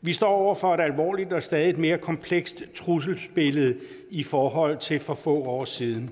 vi står over for et alvorligt og stadig mere komplekst trusselsbillede i forhold til for få år siden